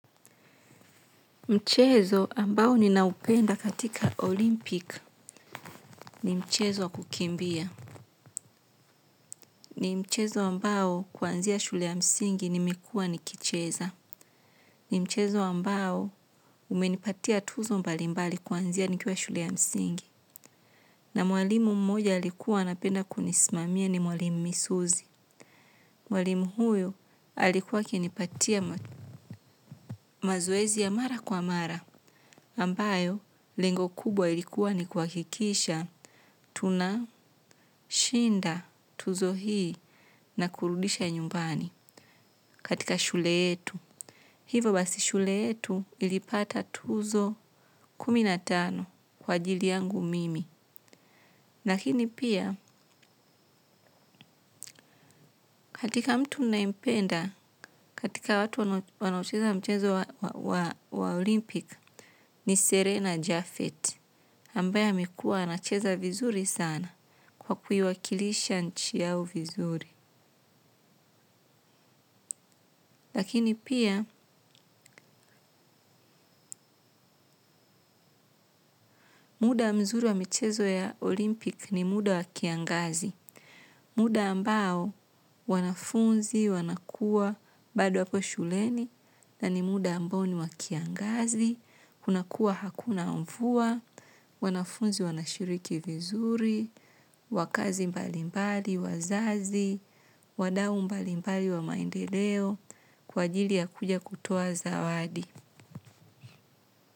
Mchezo ambao ninaupenda katika olimpika ni mchezo kukimbia. Ni mchezo ambao kwanzia shule ya msingi nimekua nikicheza. Ni mchezo ambao umenipatia tuzo mbalimbali kwanzia nikua shule ya msingi. Na mwalimu mmoja alikuwa anapenda kunismamia ni mwalimu misuzi. Mwalimu huyo alikuwa akinipatia mazoezi ya mara kwa mara. Ambayo, lengo kubwa ilikuwa ni kwakikisha tunashinda tuzo hii na kurudisha nyumbani katika shule yetu. Hivo basi shule yetu ilipata tuzo kuminatano kwa ajili yangu mimi. Lakini pia, katika mtu nayempenda katika watu wanaocheza mchezo wa Olympic ni Serena Jaffet. Ambaye amekua anacheza vizuri sana kwa kuiwakilisha nchi yao vizuri. Lakini pia, muda mzuri wa michezo ya olimpik ni muda wa kiangazi. Muda ambao wanafunzi, wanakua, bado wapo shuleni na ni muda ambao ni wa kiangazi. Kuna kuwa hakuna mfua, wanafunzi, wanashiriki vizuri, wakazi mbali mbali, wazazi, wadau mbali mbali wa maendeleo, kwa ajili ya kuja kutoa zawadi.